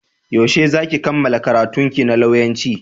Yaushe za ki kammala karantunki na lauyanci?